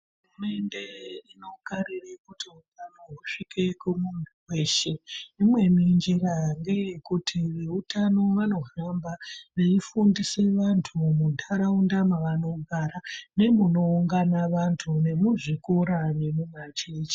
Hurumunde inokarira kuti utano husvike kumuntu weshe imweni njira ngeyekuti veutano vanohamba veifundisa vantu muntaraunda mavanogara nemunoungana vantu, nemuzvikora nemumachechi.